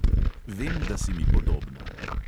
Vem, da si mi podobna.